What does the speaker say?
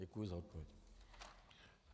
Děkuji za odpověď.